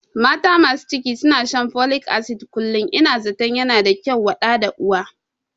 Mata masu ciki suna shan folik asid kullum, Ina zatan yana da kyau wa ɗa da uwa